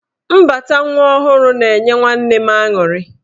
Mbata nwa ọhụrụ na-enye nwanne m aṅụrị.